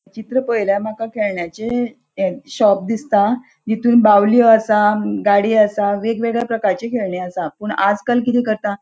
चित्र पळयल्यार माका खेळण्याचे ये शॉप दिसता तितुन बावलयों असा गाड़ी असा वेगवेगळे प्रकारची खेळणी असा पुण आजकाल किते करता --